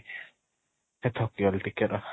ହେ ଥକି ଗଲି ଟିକେ ର